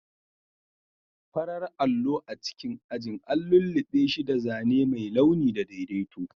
Farar allo a cikin ajin an lullube shi da zane mai launi da daidaito.